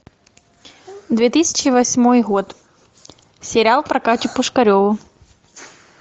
две тысячи восьмой год сериал про катю пушкареву